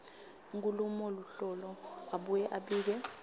enkhulumoluhlolo abuye abike